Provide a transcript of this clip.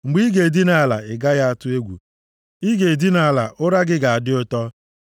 Mgbe ị ga-edina ala, ị gaghị atụ egwu, ị ga-edina ala ụra gị ga-adị ụtọ.